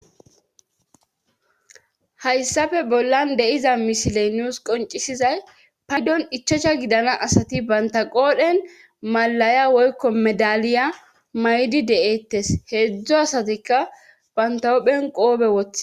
Hayssafe bollan deiza misiley nuus qoncisizay paydon ichocha gidana asati banta qoodhen malaya woykko medaliya maydi de7eettes heedzdzo asatikka banta wohphen qoobe wothi.